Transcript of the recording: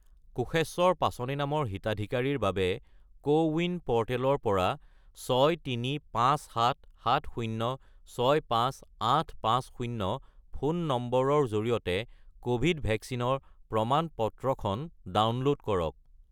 কোষেশ্বৰ পাছনি নামৰ হিতাধিকাৰীৰ বাবে কোৱিন প'ৰ্টেলৰ পৰা 63577065850 ফোন নম্বৰৰ জৰিয়তে ক'ভিড ভেকচিনৰ প্ৰমাণ-পত্ৰখন ডাউনলোড কৰক।